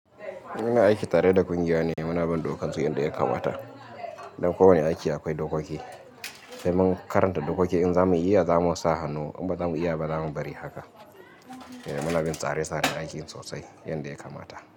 Muna aiki tare da ƙungiya ne muna bin dokarsu yanda ya kamata. Dan kowanne aiki akwai dokoki, sai mun karanta dokoki in za mu iya zamu sa hannu in ba za mu iya ba zamu bari haka. Muna bin tsare-tsare aikin sosai yanda ya kamata.